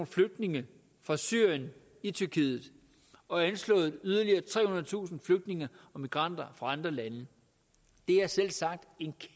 flygtninge fra syrien i tyrkiet og anslået yderligere trehundredetusind flygtninge og migranter fra andre lande det er selvsagt